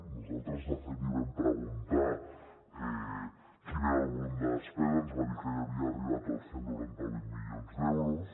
nosaltres de fet li vam preguntar quin era el volum de despesa ens va dir que ja havia arribat als cent i noranta vuit milions d’euros